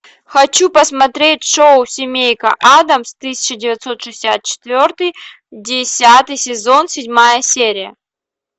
хочу посмотреть шоу семейка адамс тысяча девятьсот шестьдесят четвертый десятый сезон седьмая серия